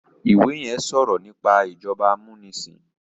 ìwé yén sọrọ nípa ìjọba amunisin